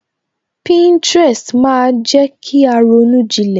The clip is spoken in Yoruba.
Pinterest maa jẹ kí a ronú jilẹ̀